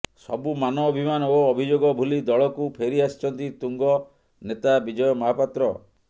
ସବୁ ମାନ ଅଭିମାନ ଓ ଅଭିଯୋଗ ଭୁଲି ଦଳକୁ ଫେରି ଆସିଛନ୍ତି ତୁଙ୍ଗ ନେତା ବିଜୟ ମହାପାତ୍ର